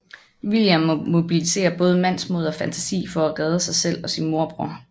William må mobilisere både mandsmod og fantasi for at redde sig selv og sin morbror